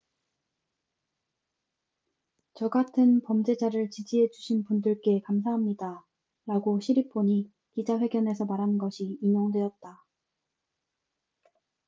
"""저 같은 범죄자를 지지해 주신 분들께 감사합니다""라고 시리폰이 기자 회견에서 말한 것이 인용되었다.